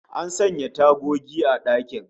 An sanya tagogi a dakin